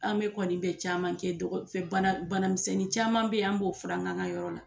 An be kɔni be caman kɛ bana, banamisɛnnin caman be yen an b'o furakɛ an ka yɔrɔ la.